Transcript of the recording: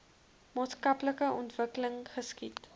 maatskaplike ontwikkeling geskied